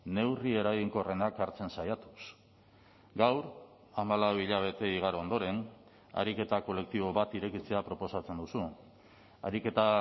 neurri eraginkorrenak hartzen saiatuz gaur hamalau hilabete igaro ondoren ariketa kolektibo bat irekitzea proposatzen duzu ariketa